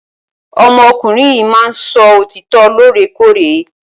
Ọmọ ọkùnrin yìí máà ń sọ òtítọ lore kore.